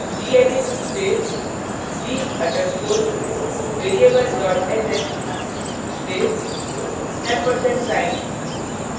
gedit space g _ underscore variable sh space & ampersand sign